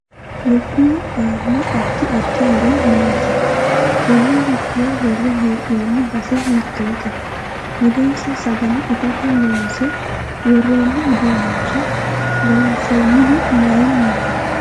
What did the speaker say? Lukkuwu aano addi addi horo maati konne lukkuwa worre heenooni base hiitoote mulensa sagale itate loonse worooni uduunicho loonsoonihu mayiiniti